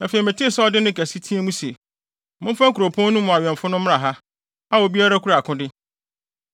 Afei metee sɛ ɔde nne kɛse teɛ mu se, “Momfa kuropɔn no awɛmfo no mmra ha, a obiara kura akode.”